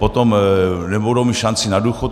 Potom nebudou míst šanci na důchod.